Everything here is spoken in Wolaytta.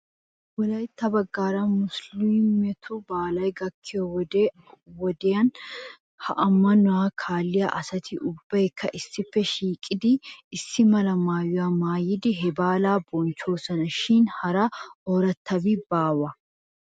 Wolaytta baggaara musiliimetu baalay gakkiyoo wodiyan wodiyan he ammanuwaa kaalliyaa asati ubbaykka issippe shiiqettidi issi mala maayuwaa maayidi he baalaa bonchchoosona shin hara oorattabi baawee?